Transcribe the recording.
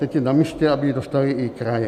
Teď je namístě, aby ji dostaly i kraje.